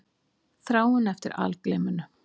Þráin eftir algleyminu.